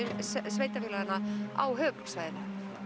sveitarfélaganna á höfuðborgarsvæðinu